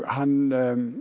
hann